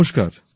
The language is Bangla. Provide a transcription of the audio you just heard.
নমস্কার